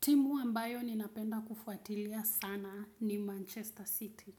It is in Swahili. Timu ambayo ninapenda kufuatilia sana ni Manchester City.